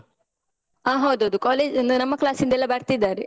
ಆ ಹೌದೌದು college ಇಂದ, ನಮ್ಮ class ಇಂದ ಎಲ್ಲ ಬರ್ತಿದ್ದಾರೆ.